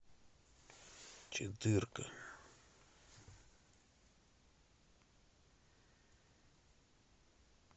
четыре ка